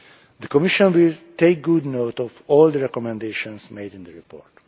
The Commission will take good note of all the recommendations made in the report.